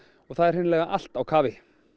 það er hreinlega allt á kafi